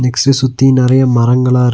Gypsy சுத்தி நெறையா மரங்களா இருக்--